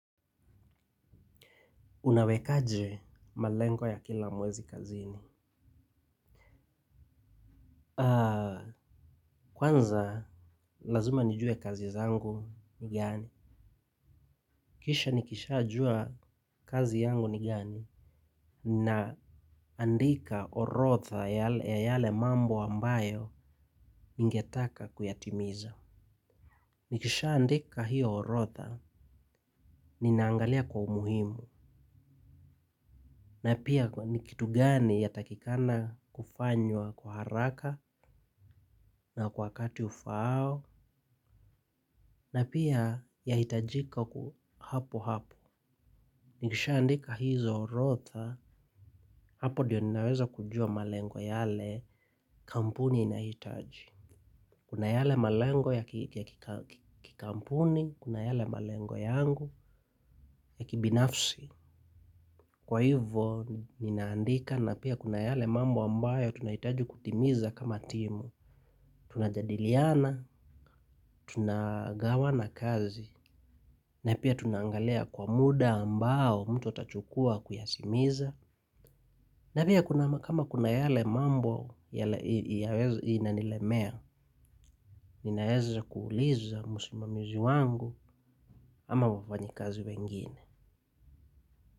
Unawekaje malengo ya kila mwezi kazini. Kwanza lazima nijue kazi zangu ni gani. Kisha nikisha jua kazi yangu ni gani. Na andika orodha ya yale mambo ambayo ningetaka kuyatimiza. Nikishaandika hiyo orodha, ninaangalia kwa umuhimu. Na pia ni kitu gani yatakikana kufanywa kwa haraka na kwa wakati ufaao. Na pia yahitajika hapo hapo. Nikisha andika hizo orodha, hapo ndiyo ninaweza kujua malengo yale kampuni inahitaji. Kuna yale malengo ya kikampuni, kuna yale malengo yangu ya kibinafsi. Kwa hivo ninaandika na pia kuna yale mambo ambayo tunahitaji kutimiza kama timu. Tunajadiliana, tunagawana kazi. Na pia tunaangalia kwa muda ambao mtu atachukua kuyatimiza, na pia kuna kama kuna yale mambo inanilemea, ninaeza kuuliza musimamizi wangu ama wafanyikazi wengine.